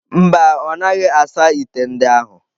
Mba, ọ naghị asa ite ndị ahụ.